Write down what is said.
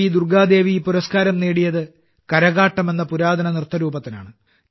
ദുർഗാദേവി ഈ പുരസ്കാരം നേടിയത് കരകാട്ടം എന്ന പുരാതന നൃത്തരൂപത്തിനാണ്